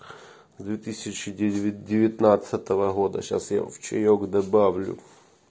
две тысячи девятнадцатого года сейчас я в чаёк добавлю